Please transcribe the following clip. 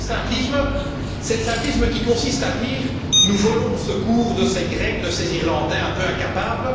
Deuxième simplisme, c'est le simplisme qui consiste à dire Nous volons au secours de ces Grecs, de ces Irlandais un peu incapables.